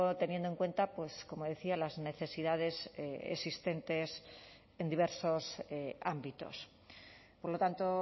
teniendo en cuenta pues como decía las necesidades existentes en diversos ámbitos por lo tanto